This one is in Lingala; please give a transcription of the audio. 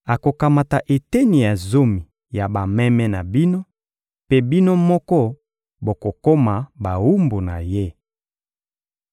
Akokamata eteni ya zomi ya bameme na bino, mpe bino moko bokokoma bawumbu na ye.